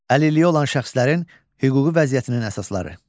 Əlilliyi olan şəxslərin hüquqi vəziyyətinin əsasları.